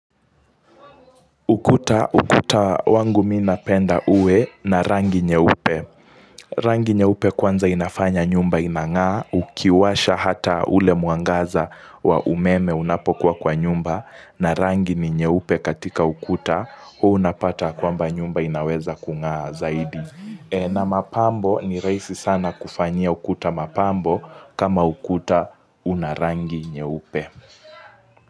Ukuta, ukuta wangu mimi napenda uwe na rangi nyeupe. Rangi nyeupe kwanza inafanya nyumba inangaa ukiwasha hata ule mwangaza wa umeme unapokuwa kwa nyumba na rangi ni nyeupe katika ukuta huu unapata kwamba nyumba inaweza kungaa zaidi. Na mapambo ni raisi sana kufanya ukuta mapambo kama ukuta una rangi nyeupe.